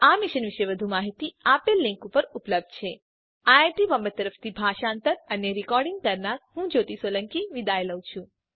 આ મિશન પર વધુ માહીતી આ લીંક પર ઉપલબ્ધ છે httpspoken tutorialorgNMEICT Intro iit Bombay તરફથી સ્પોકન ટ્યુટોરીયલ પ્રોજેક્ટ માટે ભાષાંતર કરનાર હું જ્યોતી સોલંકી વિદાય લઉં છું